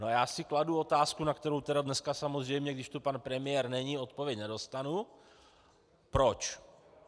No, já si kladu otázku, na kterou tedy dneska samozřejmě, když tu pan premiér není, odpověď nedostanu: Proč?